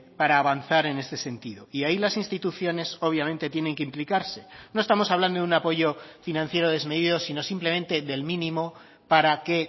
para avanzar en este sentido y ahí las instituciones obviamente tienen que implicarse no estamos hablando de un apoyo financiero desmedido sino simplemente del mínimo para que